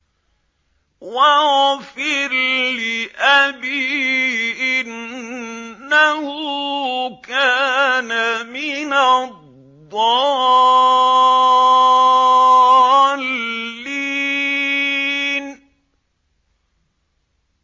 وَاغْفِرْ لِأَبِي إِنَّهُ كَانَ مِنَ الضَّالِّينَ